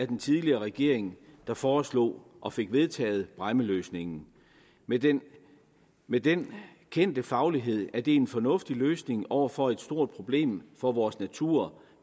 den tidligere regering der foreslog og fik vedtaget bræmmeløsningen med den med den kendte faglighed at det er en fornuftig løsning over for et stort problem for vores natur